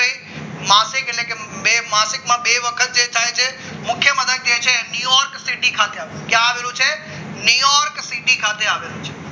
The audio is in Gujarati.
માસિક એટલે બે માસિકમાં બે વખત જે થાય છે ન્યુયોર્ક સીટી ખાતે કે આવેલું છે અને ન્યુ યોર્ક સીટી ખાતે આવેલું છે